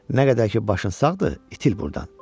Nə qədər ki, başın sağdır, itil burdan.